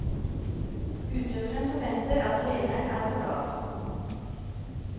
Utøveren forventer at treneren er på lag.